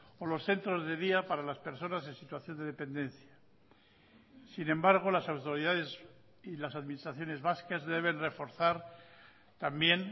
o los centros de día para las personas en situación de dependencia sin embargo las autoridades y las administraciones vascas deben reforzar también